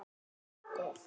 Kann allt.